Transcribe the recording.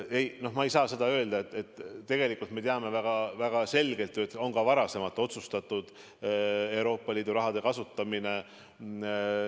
Ei, ma ei saa seda öelda, tegelikult me teame väga selgelt, et ka varem on otsustatud seal Euroopa Liidu raha kasutamist.